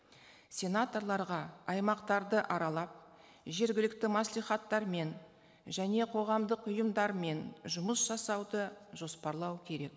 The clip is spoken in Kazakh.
сенаторларға аймақтарды аралап жергілікті мәслихаттармен және қоғамдық ұйымдармен жұмыс жасауды жоспарлау керек